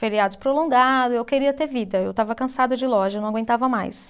feriados prolongados, e eu queria ter vida, eu estava cansada de loja, não aguentava mais.